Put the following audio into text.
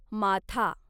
माथा